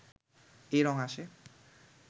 এই রঙ আসে